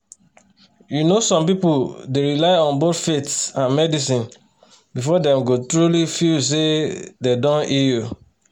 you know some people dey rely on both faith and medicine before dem go truly feel say dem don heal